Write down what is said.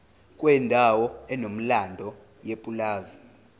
kwendawo enomlando yepulazi